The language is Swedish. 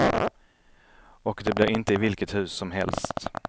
Och det blir inte i vilket hus som helst.